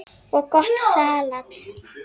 og gott salat.